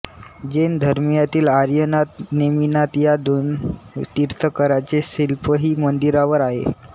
जैन धर्मियातील आर्यनाथ नेमिनाथ या दोन तीर्थंकरांचे शिल्पही मंदिरावर आहे